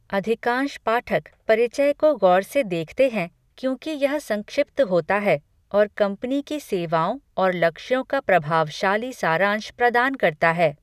अधिकांश पाठक परिचय को गौर से देखते हैं क्योंकि यह संक्षिप्त होता है और कंपनी की सेवाओं और लक्ष्यों का प्रभावशाली सारांश प्रदान करता है।